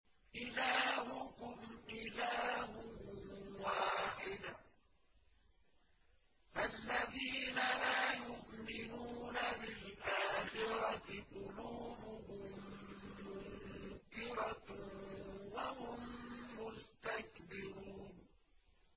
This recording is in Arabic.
إِلَٰهُكُمْ إِلَٰهٌ وَاحِدٌ ۚ فَالَّذِينَ لَا يُؤْمِنُونَ بِالْآخِرَةِ قُلُوبُهُم مُّنكِرَةٌ وَهُم مُّسْتَكْبِرُونَ